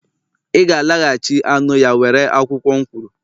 iga-alaghachi anụ ya were akwụkwọ m kwuru!